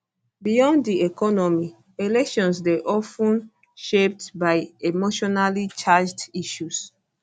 beyond di economy elections dey of ten shaped by emotionallycharged issues